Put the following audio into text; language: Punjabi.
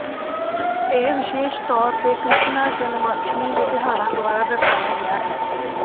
ਇਹ ਵਿਸ਼ੇਸ਼ ਤੌਰ ਤੇ ਕ੍ਰਿਸ਼ਨਾ ਜਨਮਸ਼ਟਮੀ ਦੇ ਤਿਉਹਾਰਾਂ ਦੁਆਰਾ ਦਰਸਾਇਆ ਗਿਆ ਹੈ